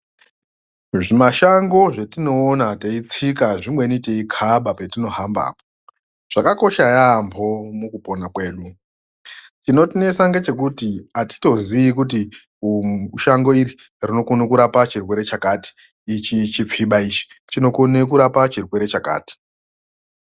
Zvimashango zvatinoona teitsika zvimweni zvatinokaba patinohamba zvakakosha yambo mukupona kwedu chinotinesa ndechekuti atitozivi kuti Shango iri rinokona kurapa chirwere chakati ichi chilfiba chinokona kurapa chirwere chakati.